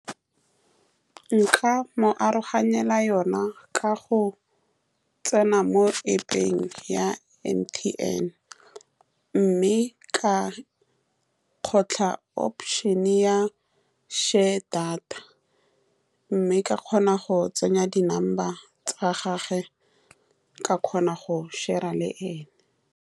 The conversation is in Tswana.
Nka mo aroganyetsa yone ka go tsena mo App-peng ya M_T_N, mme ka kgotlha opation-e ya share data, mme ka kgona go tsenya di-number tsa gagwe ka kgona go share-ra le ene.